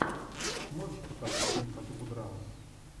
можешь показать фильм по типу драмы